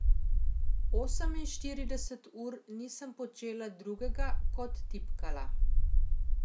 Oseminštirideset ur nisem počela drugega kot tipkala.